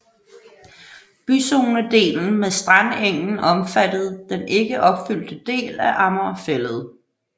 Byzonedelen med strandengen omfattede den ikke opfyldte del af Amager Fælled